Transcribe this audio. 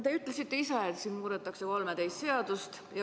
Te ütlesite ise, et siin muudetakse 13 seadust.